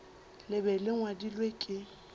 le be le ngwadilwe ke